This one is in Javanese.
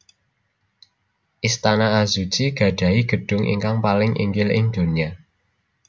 Istana Azuchi gadhahi gedhung ingkang paling inggil ing donya